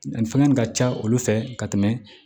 Danni fɛngɛ in ka ca olu fɛ ka tɛmɛ